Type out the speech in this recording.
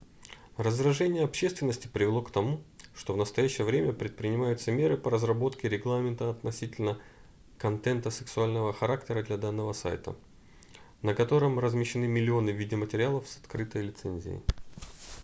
раздражение общественности привело к тому что в настоящее время предпринимаются меры по разработке регламента относительно контента сексуального характера для данного сайта на котором размещены миллионы медиаматериалов с открытой лицензией